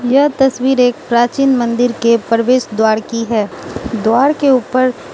यह तस्वीर एक प्राचीन मंदिर के प्रवेश द्वार की है द्वार के ऊपर --